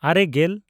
ᱟᱨᱮᱼᱜᱮᱞ